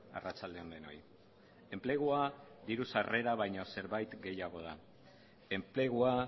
arratsalde on denoi enplegua diru sarrera baino zerbait gehiago da enplegua